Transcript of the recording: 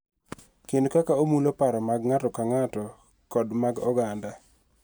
Kendo kaka omulo paro mag ng�ato ka ng�ato kod mag oganda.